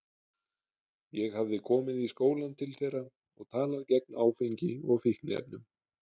Ég hafði komið í skólann til þeirra og talað gegn áfengi og fíkniefnum.